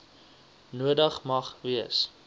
nodig mag wees